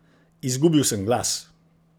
Izgubil sem glas!